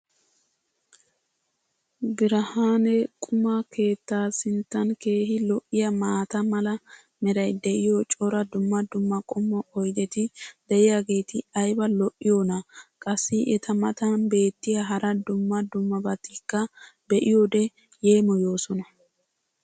Birhaanne quma keetta sinttan keehi lo'iyaa maata mala meray diyo cora dumma dumma qommo oydeti diyaageti ayba lo'iyoonaa? qassi eta matan beetiya hara dumma dummabatikka be'iyoode yeemmoyoosona.